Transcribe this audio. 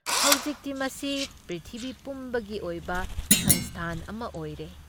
ꯍꯧꯖꯤꯛꯇꯤ ꯃꯁꯤ ꯄ꯭ꯔꯤꯊꯤꯕꯤ ꯄꯨꯝꯕꯒꯤ ꯑꯣꯏꯕ ꯁꯪꯁꯊꯥꯟ ꯑꯃ ꯑꯣꯏꯔꯦ ꯫